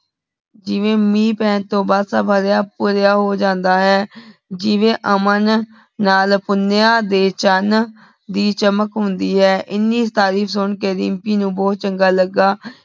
ਜਿਵੇਂ ਮੀਨ ਪੈਣ ਤੋਂ ਬਾਅਦ ਸਬ ਹਰਯ ਭਾਰਯ ਹੋ ਜਾਂਦਾ ਹੈ ਜਿਵੇਂ ਅਮਨ ਨਾਲ ਪੁੰਨਯ ਦੇ ਚਾਨ ਦੀ ਚਮਕ ਹੁੰਦੀ ਹੈ ਏਨੀ ਤਾਰੀਫ਼ ਸੁਨ ਕੇ ਦਿਮ੍ਪੀ ਨੂ ਬੋਹਤ ਚੰਗਾ ਲਗਾ